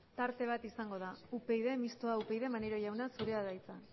tarte bat izanda da mistoa upyd maneiro jauna zurea da hitza